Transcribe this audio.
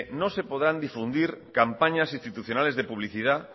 no se podrán difundir campañas institucionales de publicidad